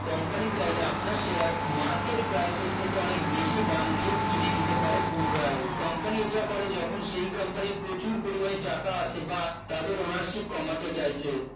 company চাইলে আপনার share market price এর থেকে অনেক বেশি দাম দিয়ে কিনে নিতে পারে পুনরায় company এটা করে যখন সেই company এর প্রচুর পরিমানের টাকা আছে বা তাদের ownership কমাতে চাইছে